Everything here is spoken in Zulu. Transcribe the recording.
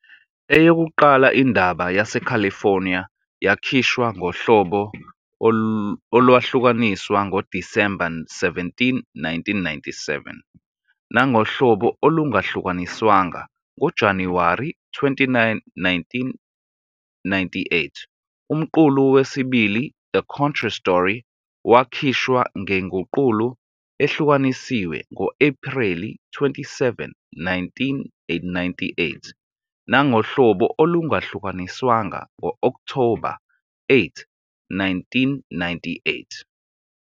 Eyokuqala, "Indaba yaseCalifornia," yakhishwa ngohlobo olwahlukaniswa ngoDisemba 17, 1997, nangohlobo olungahlukaniswanga ngoJanuwari 29, 1998. Umqulu wesibili, "The Contra Story," wakhishwa ngenguqulo ehlukanisiwe ngo-Ephreli 27, 1998, nangohlobo olungahlukaniswanga ngo-Okthoba 8, 1998.